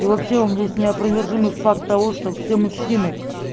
и вообще у меня есть неопровержимый факт того что все мужчины